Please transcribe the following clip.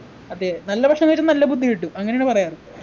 അതെ നല്ല ഭക്ഷണം കഴിച്ച നല്ല ബുദ്ധി കിട്ടും അങ്ങനെയാണ് പറയാറു